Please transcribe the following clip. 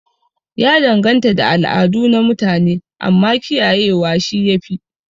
Ya danganta da al'adu na mutune, amma kiyaye wa shi yafi